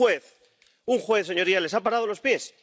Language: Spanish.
Pero un juez —un juez—, señorías, les ha parado los pies.